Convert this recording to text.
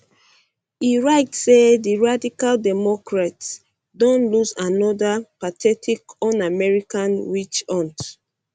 e write say di radical democrats um don lose anoda um pathetic unamerican witch hunt